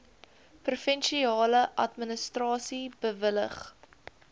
provinsiale administrasie bewillig